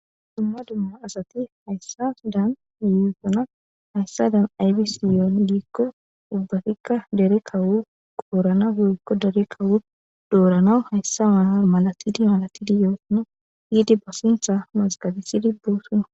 Dumma dumma asati hayssa daan yoosana hayssa dan aybi siyoon giikko ubbatikka dere kawu qoorana hoykko dere kawu doorana hayssa mahar malatidi malatidi yoosona hiidi ba sintha mazqabisidi boosuna.